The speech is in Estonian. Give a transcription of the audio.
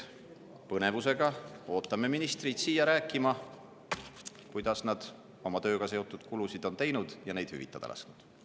Põnevusega ootame ministreid siia rääkima, kuidas nad on oma tööga seotud kulutusi teinud ja neid hüvitada lasknud.